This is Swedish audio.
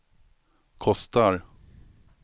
kostar